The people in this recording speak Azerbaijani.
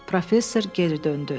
Professor geri döndü.